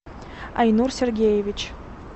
айнур сергеевич